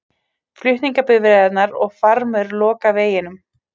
Flutningabifreiðarnar og farmur loka veginum